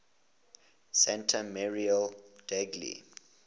santa maria degli